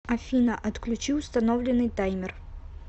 афина отключи установленный таймер